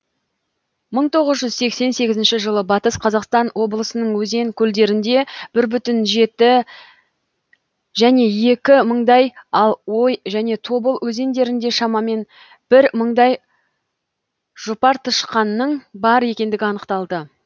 мың тоғыз жүз сексен сегізінші жылы батыс қазақстан облысының өзен көлдерінде бір бүтін жеті және екі мындай ал ой және тобыл өзендерінде шамамен бір мыңдай жұпартышқанның бар екендігі анықталды